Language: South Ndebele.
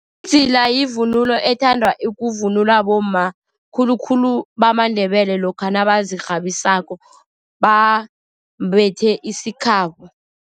Idzila yivunulo ethandwa kuvunulwa bomma, khulukhulu bamaNdebele lokha nabazirhabisako, bambethe isikhabo.